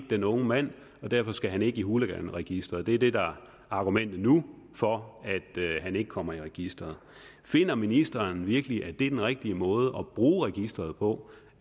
den unge mand og derfor skal han ikke i hooliganregisteret det er det der er argumentet nu for at han ikke kommer i registeret finder ministeren virkelig at det er den rigtige måde at bruge registeret på